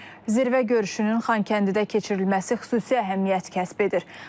Zirvə görüşünün Xankəndidə keçirilməsi xüsusi əhəmiyyət kəsb edir.